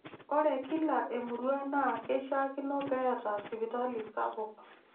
Ore kila emurua naa keishiakino peeta sipitali sapuk.